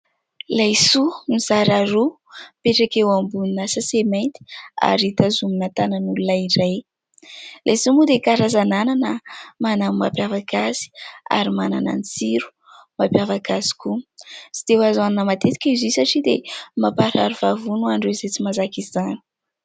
Laisoa mizara roa mipetraka eo ambonina "sachet" mainty, ary tazomina tanan'olona iray. Laisoa moa dia karazan'anana manana ny mampiavaka azy ary manana ny tsiro mampiavaka azy koa. Tsy dia azo hohanina matetika izy io satria dia mamparary vavony ho an'ireo izay tsy mahazaka izany.